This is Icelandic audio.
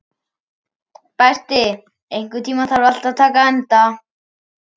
Berti, einhvern tímann þarf allt að taka enda.